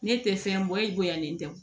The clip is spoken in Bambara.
Ne tɛ fɛn bɔ i bonyalen tɛ